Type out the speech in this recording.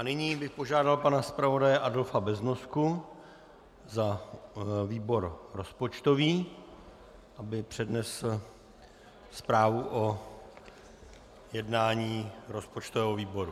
A nyní bych požádal pana zpravodaje Adolfa Beznosku za výbor rozpočtový, aby přednesl zprávu o jednání rozpočtového výboru.